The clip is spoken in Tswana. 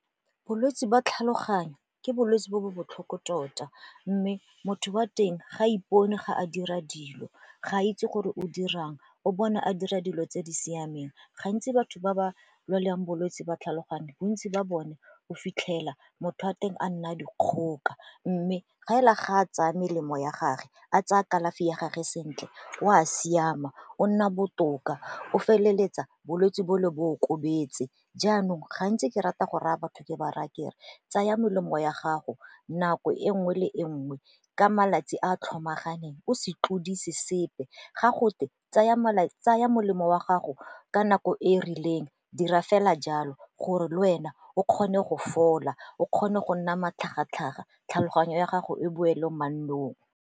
Bolwetsi ba tlhaloganyo ke bolwetsi bo bo botlhoko tota mme motho wa teng ga ipone ga a dira dilo, ga a itse gore o dirang, o bona a dira dilo tse di siameng. Gantsi batho ba ba lwalang bolwetsi ba tlhaloganye bontsi ba bone o fitlhela motho a teng a nna a dikgoka mme ga e la ga a tsaya melemo ya gage a tsaya kalafi ya gage sentle o a siama o nna botoka o feleletsa bolwetsi bole bo okobetse. Jaanong gantsi ke rata go raya batho ke ba raya kere tsaya melemo ya gago nako e nngwe le e nngwe, ka malatsi a tlhomaganang o se tlodise sepe ga gotwe tsaya molemo wa gago ka nako e e rileng dira fela jalo gore le wena o kgone go fola, o kgone go nna matlhagatlhaga, tlhaloganyo ya gago e boele mannong.